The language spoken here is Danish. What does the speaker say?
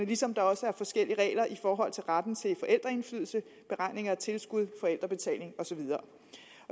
ligesom der også er forskellige regler i forhold til retten til forældreindflydelse beregning af tilskud forældrebetaling og så videre